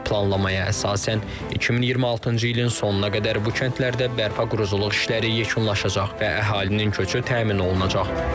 Planlamaya əsasən 2026-cı ilin sonuna qədər bu kəndlərdə bərpa-quruculuq işləri yekunlaşacaq və əhalinin köçü təmin olunacaq.